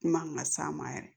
Kuma kan ka s'a ma yɛrɛ